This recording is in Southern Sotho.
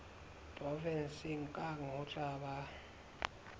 provenseng kang ho tla ba